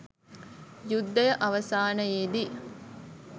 යුද්ධය අවසානයේදී